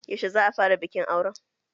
Yaushe za'a fara bikin auren?